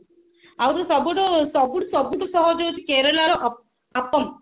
ଆହୁରି ସବୁଠୁ ସବୁଠୁ ସବୁଠୁ ସହଜ ହଉଛି ହେଉଛି କେରଲା ର ଅପମ